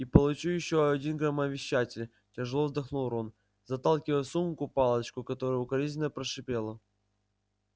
и получу ещё один громовещатель тяжело вздохнул рон заталкивая в сумку палочку которая укоризненно прошипела